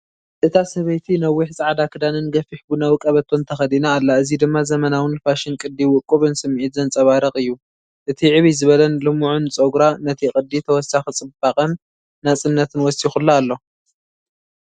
እታ ሰበይቲ ነዊሕ ጻዕዳ ክዳንን ገፊሕ ቡናዊ ቀበቶን ተኸዲና ኣላ እዚ ድማ ዘመናውን ፋሽን ቅዲ ውቁብን ስምዒት ዘንጸባርቕ እዩ። እቲ ዕብይ ዝበለን ልሙዕን ጸጉራ ነቲ ቅዲ ተወሳኺ ጽባቐን ናጽነትን ወሲኹላ ኣሎ።